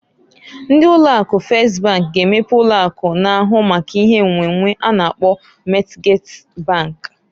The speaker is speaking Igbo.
Ndị ụlọ akụ Fes bank g'emepe ụlọ akụ na-ahụ maka ihe nnwennwe a na-akpọ Mọtgej bank.